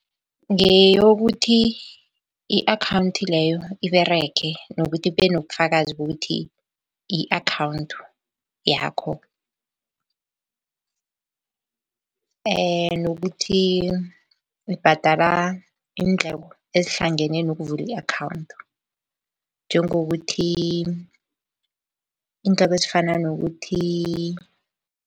Ngeyokuthi i-akhawunthi leyo iberege nokuthi kube nobufakazi bokuthi i-akhawunthi yakho nokuthi ibhadala iindleko ezihlangene nokuvula i-akhawunthi njengokuthi, iindleko ezifana nokuthi